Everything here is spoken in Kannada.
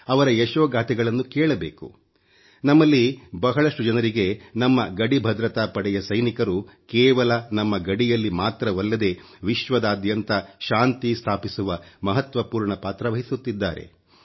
ಅವರ ಯಶೋಗಾಥೆಗಳನ್ನು ಕೇಳಬೇಕು ನಮ್ಮಲ್ಲಿ ಬಹಳಷ್ಟು ಜನರಿಗೆ ನಮ್ಮ ಗಡಿ ಭದ್ರತಾ ಪಡೆಯ ಸೈನಿಕರು ಕೇವಲ ನಮ್ಮ ಗಡಿಯಲ್ಲಿ ಮಾತ್ರವಲ್ಲದೆ ವಿಶ್ವದಾದ್ಯಂತ ಶಾಂತಿ ಸ್ಥಾಪಿಸುವ ಮಹತ್ವಪೂರ್ಣ ಪಾತ್ರ ವಹಿಸುತ್ತಿದ್ದಾರೆ